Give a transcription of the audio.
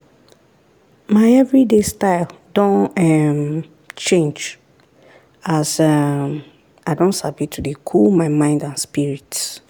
my everyday style don um change as um i don sabi to dey cool my mind and spirit.